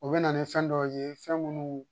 O bɛ na ni fɛn dɔw ye fɛn minnu